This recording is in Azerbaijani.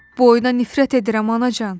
Bu oyuna nifrət edirəm anacan.